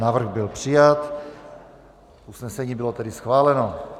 Návrh byl přijat, usnesení bylo tedy schváleno.